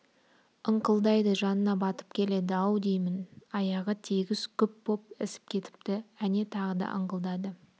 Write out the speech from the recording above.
ыңқылдайды жанына батып келеді-ау деймін аяғы тегіс күп боп ісіп кетіпті әне тағы да ыңқылдады